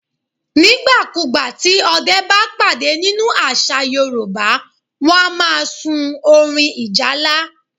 Nígbà ku gbà tí Ọdẹ́ bá pàdé nínú àṣà Yorùbá, wọn a máa sún orin ìjálá.